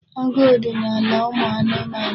Agụụ dị n'ala ụmụ anụmanụ.